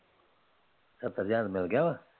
ਸੱਤਰ ਹਜ਼ਾਰ ਮਿਲ ਗਿਆ ਵਾ